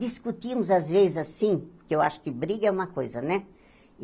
Discutimos às vezes assim, porque eu acho que briga é uma coisa, né?